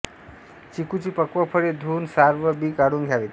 चिकूची पक्व फळे धुऊन साल व बी काढून घ्यावीत